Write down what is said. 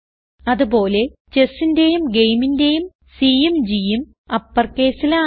അതുപോലെ Chessന്റേയും Gameന്റേയും Cയും Gയും uppercaseൽ ആണ്